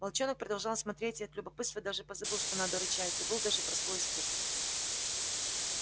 волчонок продолжал смотреть и от любопытства даже позабыл что надо рычать забыл даже про свой испуг